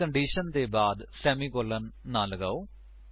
ਪਰ ਕੰਡੀਸ਼ਨ ਦੇ ਬਾਅਦ ਸੇਮੀਕੋਲਨ ਨਾਂ ਲਗਾਓ